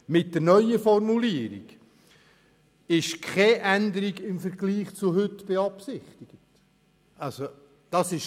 Mit der neuen Formulierung ist keine Änderung im Vergleich zu heute beabsichtigt.